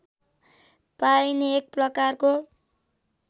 पाइने एक प्रकारको